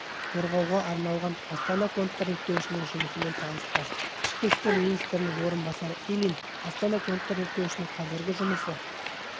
қорғауға арналған астана контрреттеуішінің жұмысымен танысты ішкі істер министрінің орынбасары ильин астана контрреттеуішінің қазіргі жұмысы